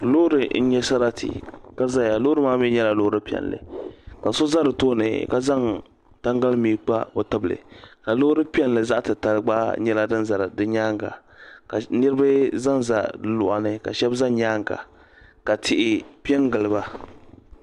Loori n nya sarati ka ʒeya loori maa mi nyela loori zaɣpiɛlli ka so za di tooni ka zaŋ tangali mii n kpa o tibili ka loori piɛlli zaɣtitali gba nyela din ʒi di nyaaŋa ka niribi zanza di luɣani ka shɛb za nyaaŋa ka tihi piɛ n giliba.